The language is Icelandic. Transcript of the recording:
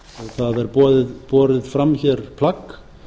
það er borið fram hér plagg